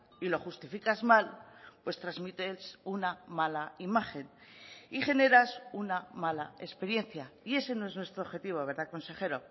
y lo justificas mal pues transmites una mala imagen y generas una mala experiencia y ese no es nuestro objetivo verdad consejero